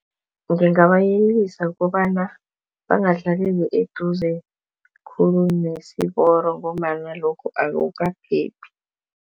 Ngingabayelisa kobana bangahlaleli eduze khulu nesiporo ngombana lokho akukaphephi.